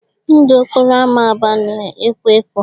Ndụ ọkpọrọ ámá Aba na-ekwọ ekwọ.